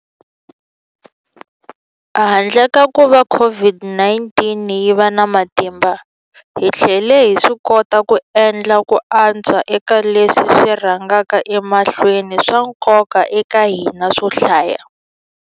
Handle ka kuva COVID-19 yi va na matimba, hi tlhele hi swikota ku endla ku antswa eka leswi swi rhangaka emahlweni swa nkoka eka hina swo hlaya.